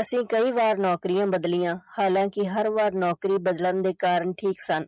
ਅਸੀਂ ਕਈ ਵਾਰ ਨੌਕਰੀਆਂ ਬਦਲੀਆਂ ਹਾਲਾਂਕਿ ਹਰ ਵਾਰ ਨੌਕਰੀ ਬਦਲਣ ਦੇ ਕਾਰਨ ਠੀਕ ਸਨ